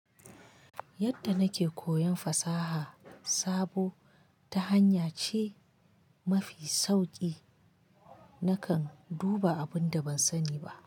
Yadda nake koyon fasaha sabo, ta hanya ce mafi sauki nakan duba abun da ban sani ba.